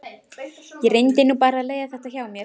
Ég reyndi nú bara að leiða þetta hjá mér.